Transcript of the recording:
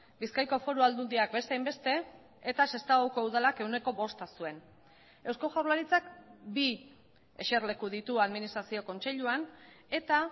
bizkaiko foru aldundiak beste hainbeste eta sestaoko udalak ehuneko bosta zuen eusko jaurlaritzak bi eserleku ditu administrazio kontseiluan eta